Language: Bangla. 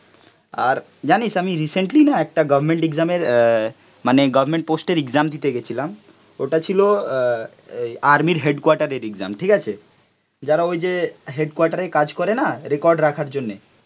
জানিস আমি রিসেন্টলি না একটা গভর্নমেন্ট এক্সাম এর অ্যা মানে গভর্নমেন্ট পোস্ট এর এক্সাম দিতে গেছিলাম ওটা ছিল অ্যা আর্মি এর হেডকোয়ার্টার এর এক্সাম, ঠিক আছে, যারা ওই যে হেডকোয়ার্টার এ কাজ করে না রেকর্ড রাখার জন্যে